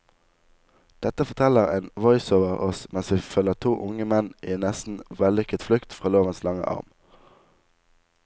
Dette forteller en voiceover oss mens vi følger to unge menn i en nesten vellykket flukt fra lovens lange arm.